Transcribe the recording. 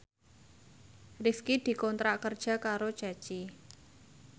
Rifqi dikontrak kerja karo Ceci